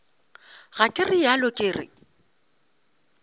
ga ke realo ke re